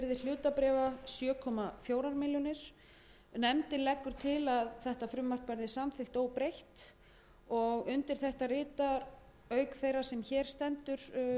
hlutabréfa sjö komma fjórum milljónum króna nefndin leggur til að þetta frumvarp verði samþykkt óbreytt undir þetta rita auk þeirrar sem hér stendur